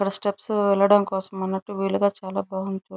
steps వెళ్లడం మనటు వీలుగా చాల బాగుంది --